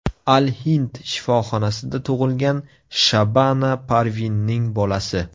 Al-Hind shifoxonasida tug‘ilgan Shabana Parvinning bolasi.